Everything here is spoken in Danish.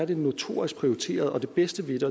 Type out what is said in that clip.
det notorisk prioriteret og det bedste ved